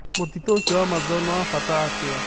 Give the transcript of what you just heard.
Mũtitũ ũcio wa Amazon nĩ wa bata atĩa?